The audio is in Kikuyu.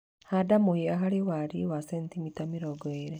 Handa mũhĩa harĩ wariĩ wa centimita mĩrongo ĩrĩ.